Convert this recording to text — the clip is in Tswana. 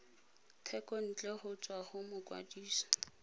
thekontle go tswa go mokwadise